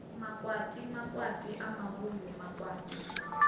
makwati makwati a muvhuyu makwati